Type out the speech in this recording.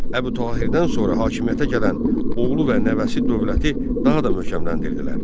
Əbu Tahirdən sonra hakimiyyətə gələn oğlu və nəvəsi dövləti daha da möhkəmləndirdilər.